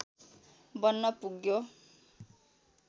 बन्न पुग्यो